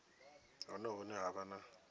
hone hune ha vha na